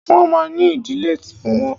Wọ́n ma ní ìdílé ti wọn.